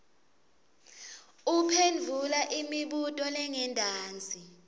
uphendvula imibuto lengentasi